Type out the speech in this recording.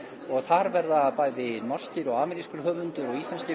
og þar verða bæði norskir og amerískur höfundur og íslenskir